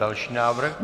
Další návrh.